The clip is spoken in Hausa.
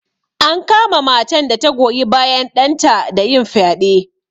An kama matan da ta goyi bayan ɗanta da yin fyaɗe.